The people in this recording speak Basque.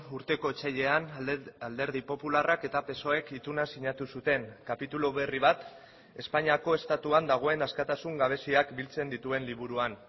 urteko otsailean alderdi popularrak eta psoek ituna sinatu zuten kapitulu berri bat espainiako estatuan dagoen askatasun gabeziak biltzen dituen liburuan